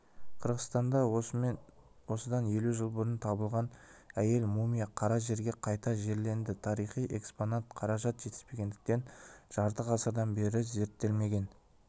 қырғызстанда осыдан елу жыл бұрын табылған әйел мумия қара жерге қайта жерленді тарихи экспонат қаражат жетіспегендіктен жарты ғасырдан бері зерттелмеген